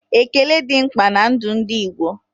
Ékélé dị mkpa ná ndụ ndị Igbo